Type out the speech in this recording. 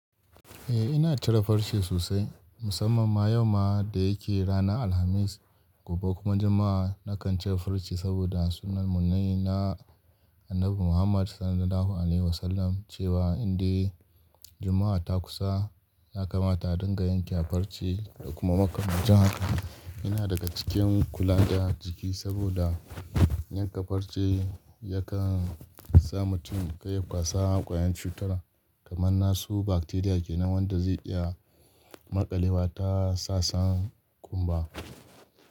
Eh ina cire farce sosai, musamman ma yau ma da yake ranar Alhamis gobe kuma Juma'a. Nakan cire farce saboda sunnan mune na Annabi Muhammad SAW cewa in dai Juma'a ta kusa, ya kamata a dinga yanke farce da kuma makalbi. Jin haka yana daga cikin kula da jiki saboda yanka farce yakan sa mutum ya kwasa kwayan cutura kamar nasu bakteriya kenan wanda zai iya maƙalewa ta sasan ƙumba.